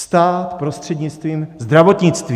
Stát prostřednictvím zdravotnictví.